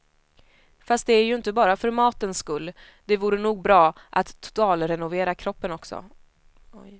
Fast det är ju inte bara för matens skull, det vore nog bra att totalrenovera kroppen också.